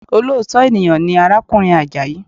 Olóòtọ́ ènìyàn ni arákùnrin Àjàyí